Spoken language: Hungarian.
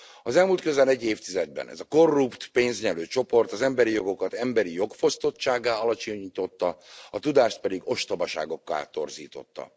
Az elmúlt közel egy évtizedben ez a korrupt, pénznyelő csoport az emberi jogokat emberi jogfosztottsággá alacsonyította, a tudást pedig ostobaságokká torzította.